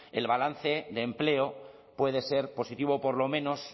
el balance de empleo puede ser positivo por lo menos